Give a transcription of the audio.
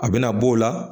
A bɛna b'o la